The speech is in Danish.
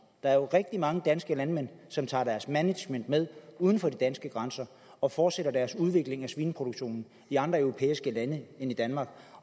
er jo rigtig mange danske landmænd som tager deres management med uden for de danske grænser og fortsætter deres udvikling af svineproduktionen i andre europæiske lande end i danmark